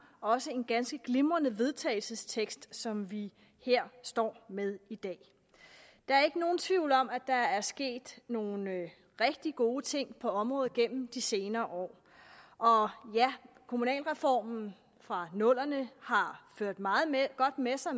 også en ganske glimrende vedtagelses tekst som vi her står med i dag der er ikke nogen tvivl om at der er sket nogle rigtig gode ting på området gennem de senere år og ja kommunalreformen fra nullerne har ført meget godt med sig